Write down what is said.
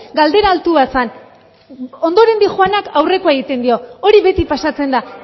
galdera altua zen ondoren doanak aurrekori egiten dio hori beti pasatzen da